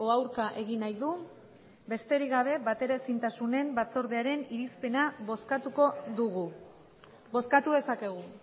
aurka egin nahi du besterik gabe bateraezintasunen batzordearen irizpena bozkatuko dugu bozkatu dezakegu